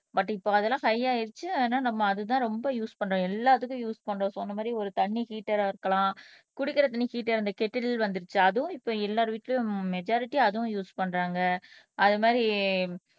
but இப்ப அதெல்லாம் high ஆயிருச்சு ஆனா நம்ம அதுதான் ரொம்ப யூஸ் பண்றோம் எல்லாத்துக்கும் யூஸ் பண்றோம் சோ அந்த மாதிரி ஒரு தண்ணி ஹீட்டரா இருக்கலாம் குடிக்கிற தண்ணி ஹீட்டர் அந்த கேட்டலே வந்துருச்சு அதுவும் இப்ப எல்லார் வீட்ல மஜுரிட்டி அதுவும் யூஸ் பண்றாங்க அது மாதிரி